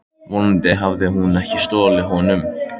Vonandi hafði hún ekki stolið honum.